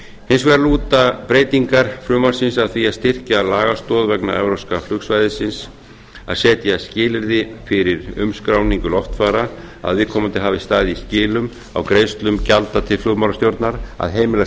hins vegar lúta breytingar frumvarpsins að því að styrkja lagastoð vegna evrópska flugsvæðisins að setja skilyrði fyrir umskráningu loftfara að viðkomandi hafi staðið í skilum á greiðslum gjalda til flugmálastjórnar að heimila